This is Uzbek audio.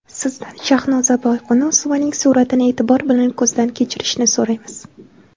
Sizdan Shahnoza Boyqunusovaning suratini e’tibor bilan ko‘zdan kechirishni so‘raymiz.